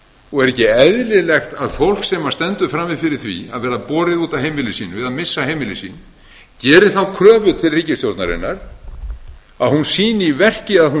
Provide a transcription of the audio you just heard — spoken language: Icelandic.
og er ekki eðlilegt að fólk sem stendur frammi fyrir því að verða borið út af heimili sínu eða missa heimili sín geri þá kröfu til ríkisstjórnarinnar að hún sýni í verki að hún